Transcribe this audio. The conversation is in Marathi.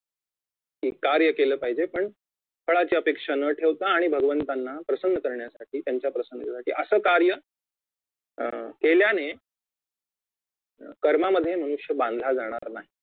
की कार्य केले पाहिजे पण फळाची अपेक्षा न ठेवता आणि भगवंतांना प्रसन्न करण्यासाठी त्यांच्या प्रसन्नतेसाठी असं कार्य अं केल्याने कर्मामध्ये मोक्ष बांधला जाणार नाही